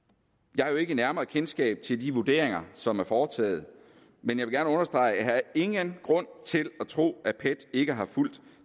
jeg har jo ikke nærmere kendskab til de vurderinger som er foretaget men jeg vil gerne understrege at jeg ingen grund til at tro at pet ikke har fulgt